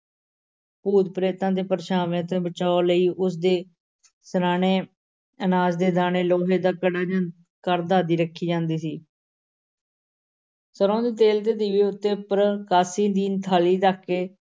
ਭੂਤ-ਪ੍ਰੇਤਾਂ ਦੇ ਪਰਛਾਵਿਆਂ ਤੋਂ ਬਚਾਓ ਲਈ ਉਸ x`ਦੇ ਸਿਰ੍ਹਾਣੇ ਅਨਾਜ ਦੇ ਦਾਣੇ, ਲੋਹੇ ਦਾ ਕੜਾ ਜਾਂ ਕਰਦ ਆਦਿ ਰੱਖੀ ਜਾਂਦੀ ਸੀ ਸਰ੍ਹੋਂ ਦੇ ਤੇਲ ਦੇ ਦੀਵੇ ਤੇ ਉੱਪਰ ਕਾਂਸੀ ਦੀ ਥਾਲੀ ਰੱਖ ਕੇ